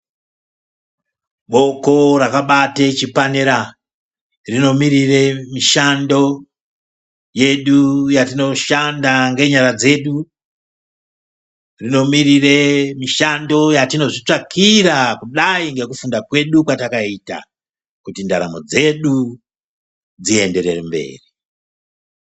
Ruoko rakabate chipanera rinomirire mishando yedu yetinoshanda ngenyara dzedu. Rinomirira mishando yatinozvitsvakira, kudai ngekufunda kwedu kwetinenge takaita, kuti ndaramo dzedu dzienderere mberi.